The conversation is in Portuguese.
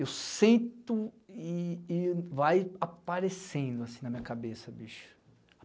Eu sento e e vai aparecendo assim na minha cabeça, bicho.